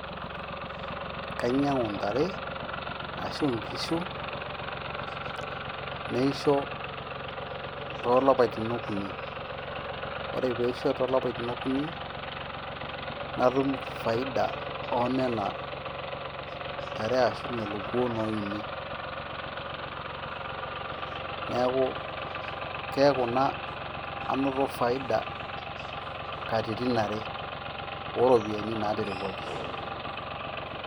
kanyiangu intare, ashu inkishu, neisho tolapaitin okuni, ore peisho tolapaitin akuni ,natum faida onena tare ashu lelo kuo oini, niaku, kiaku naa anoto faida katitin are oropiani naterewuaki.